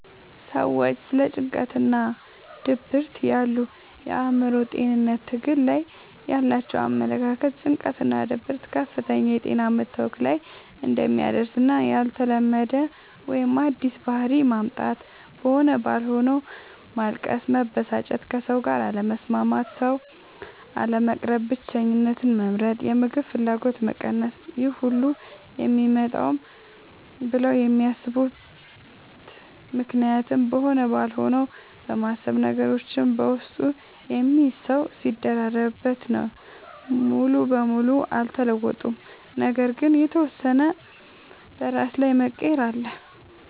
ሰዎች ስለ ጭንቀትናድብርት ያሉ የአእምሮ ጤንነት ትግል ላይ ያላቸው አመለካከት ጭንቀትናድብርት ከፍተኛ የጤና መታወክ ላይ እንደሚያደርስና ያልተለመደ ወይም አዲስ ባህሪ ማምጣት(በሆነ ባልሆነዉ ማልቀስ፣ መበሳጨት፣ ከሰዉጋር አለመስማማት፣ ሰዉ፣ አለመቅረብ፣ ብቸኝነትን መምረጥ፣ የምግብ ፍላገጎት መቀነስ....) ይሄሁሉ የሚመጣውም ብለው የሚያስቡት ምክንያትም በሆነ ባልሆነው በማሰብ፤ ነገሮችን በውስጡ የሚይዝ ሰዉ ሲደራረብበት... ነው። ሙሉ በሙሉ አልተለወጡም ነገር ግን የተወሰነ በራስ ላይ መቀየር አለ።